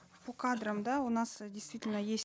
по кадрам да у нас э действительно есть